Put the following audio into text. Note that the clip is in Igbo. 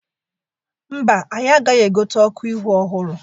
Mba, anyị agaghị egote ọkụ ihu ọhụrụ.